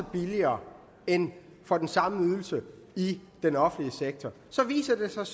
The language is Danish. billigere end for den samme ydelse i den offentlige sektor så viser det sig